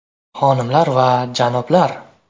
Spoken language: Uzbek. “Xonimlar va janoblar!